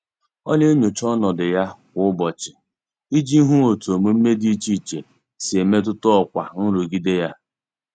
Ọ na-enyocha ọnọdụ ya kwa ụbọchị iji hụ otu omume dị iche iche si e metụta ọkwa nrụgide ya.